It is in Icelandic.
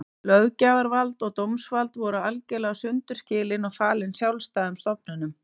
Löggjafarvald og dómsvald voru algerlega sundur skilin og falin sjálfstæðum stofnunum.